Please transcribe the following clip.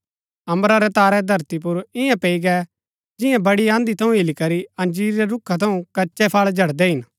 अम्बरा रै तारै धरती पुर इन्या पैई गै जियां बडी आँधी थऊँ हिलीकरी अंजीर रै रूखा थऊँ कच्चै फळ झडदै हिन